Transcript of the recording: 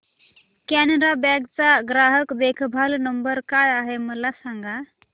कॅनरा बँक चा ग्राहक देखभाल नंबर काय आहे मला सांगा